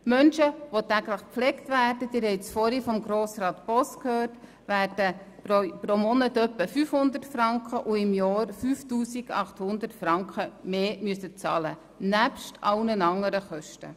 Menschen, die täglich gepflegt werden – Sie haben dies vorhin von Grossrat Boss gehört –, werden pro Monat in etwa 500 Franken und pro Jahr 5800 Franken mehr bezahlen müssen und dies neben allen anderen Kosten.